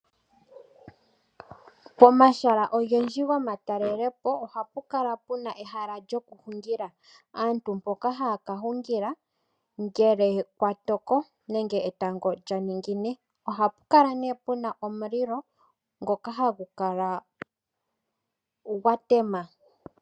Pomahala ogendji gomatalelepo ohapu kala puna ehala lyokuhungila. Aantu mpoka haya ka hungila ngele kwa toko nenge etango lya ningine. Ohapu kala nee puna omulilo ngoka hagu kala gwa tema.